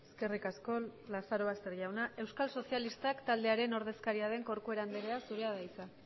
eskerrik asko lazarobaster jauna euskal sozialistak taldearen ordezkaria den corcuera andrea zurea da hitza